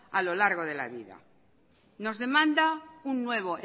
a lo largo de la vida nos demanda un nuevo